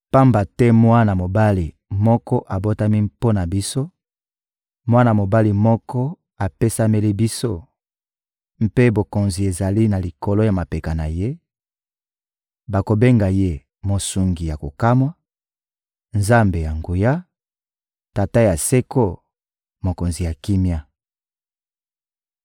Pamba te mwana mobali moko abotami mpo na biso, mwana mobali moko apesameli biso, mpe bokonzi ezali na likolo ya mapeka na ye; bakobenga ye: Mosungi ya kokamwa, Nzambe ya nguya, Tata ya seko, Mokonzi ya kimia.